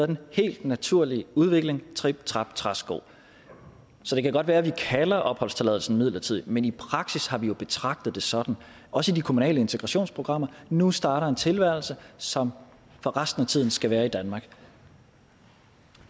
den helt naturlige udvikling trip trap træsko så det kan godt være at vi kalder opholdstilladelsen midlertidig men i praksis har vi jo betragtet det sådan også i de kommunale integrationsprogrammer nu starter en tilværelse som for resten af tiden skal være i danmark